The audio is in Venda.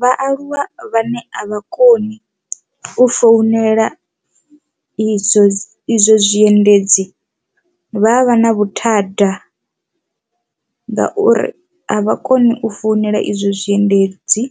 Vhaaluwa vhane a vha koni u founela izwo izwo zwiendedzi vha a vha na vhuthada ngauri a vha koni u founela izwo zwiendedzi,